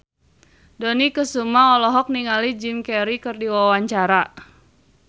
Dony Kesuma olohok ningali Jim Carey keur diwawancara